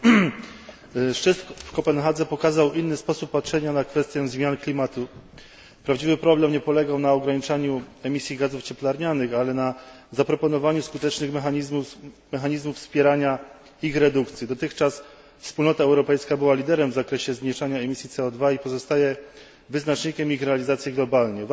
Panie przewodniczący! Szczyt w Kopenhadze pokazał inny sposób patrzenia na kwestię zmian klimatu. Prawdziwy problem nie polegał na ograniczaniu emisji gazów cieplarnianych, ale na zaproponowaniu skutecznych mechanizmów wspierania ich redukcji. Dotychczas Wspólnota Europejska była liderem w zakresie zmniejszania emisji CO i pozostaje wyznacznikiem ich realizacji globalnie.